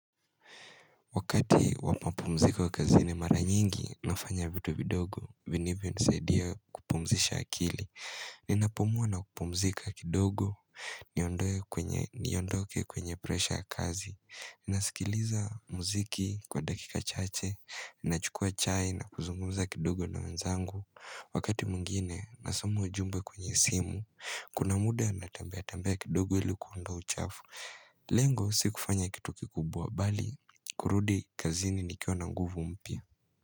Wakati wamapumziko kazini mara nyingi, nafanya vitu vidogo, vinivyo nisaidia kupumzisha akili. Ninapumua na kupumzika kidogo, niondoke kwenye presha ya kazi. Nasikiliza muziki kwa dakika chache, nachukua chai na kuzungumza kidogo na wenzangu. Wakati mwingine, nasoma ujumbe kwenye simu, kuna muda natembea tembea kidogo ilikuunda uchafu. Lengo sikufanya kitu kikubwa bali kurudi kazini nikiwa na nguvu mpya.